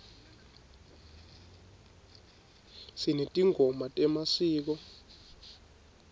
sinetingoma temasiko